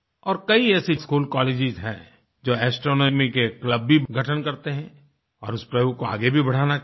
और कई ऐसे स्कूलकॉलेज हैंजो एस्ट्रोनॉमी के क्लब भी गठन करते हैं और इस प्रयोग को आगे भी बढ़ाना चाहिए